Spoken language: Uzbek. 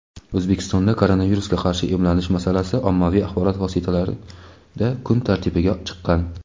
O‘zbekistonda koronavirusga qarshi emlanish masalasi ommaviy axborot vositalarida kun tartibiga chiqqan.